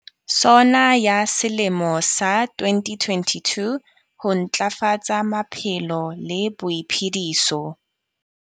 SONA ya selemo sa 2022. Ho ntlafatsa maphelo le boiphediso.